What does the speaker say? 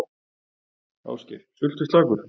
Ásgeir: Sultuslakur?